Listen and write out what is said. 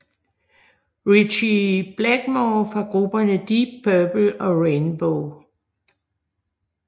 Ritchie Blackmore fra grupperne Deep Purple og Rainbow